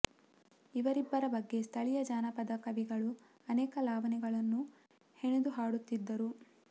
ಇವರಿಬ್ಬರ ಬಗ್ಗೆ ಸ್ಥಳಿಯ ಜಾನಪದ ಕವಿಗಳು ಅನೇಕ ಲಾವಣಿಗಳನ್ನು ಹೆಣೆದು ಹಾಡುತ್ತಿದ್ದರು